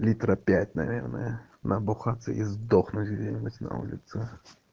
литров пять наверное набухаться и сдохнуть где-нибудь на улице